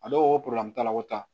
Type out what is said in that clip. A dɔw t'a la ko ta